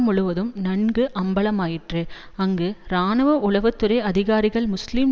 முழுவதும் நன்கு அம்பலமாயிற்று அங்கு இராணுவ உளவு துறை அதிகாரிகள் முஸ்லீம்